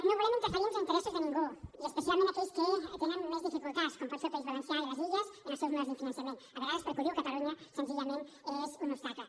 no volem interferir en els interessos de ningú i especialment d’aquells que tenen més dificultats com poden ser el país valencià i les illes amb els seus models de finançament a vegades perquè ho diu catalunya senzillament és un obstacle